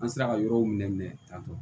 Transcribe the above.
An sera ka yɔrɔw minɛ tan tɔ